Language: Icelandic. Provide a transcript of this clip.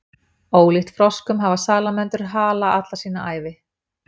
ólíkt froskum hafa salamöndrur hala alla sína ævi